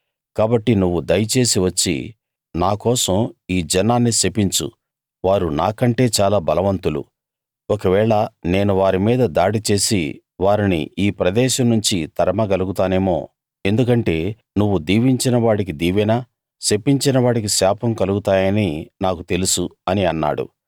కాబట్టి నువ్వు దయచేసి వచ్చి నా కోసం ఈ జనాన్ని శపించు వారు నాకంటే చాలా బలవంతులు ఒకవేళ నేను వారి మీద దాడి చేసి వారిని ఈ ప్రదేశం నుంచి తరమగలుగుతానేమో ఎందుకంటే నువ్వు దీవించినవాడికి దీవెన శపించిన వాడికి శాపం కలుగుతాయని నాకు తెలుసు అని అన్నాడు